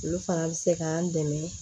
Olu fana bɛ se k'an dɛmɛ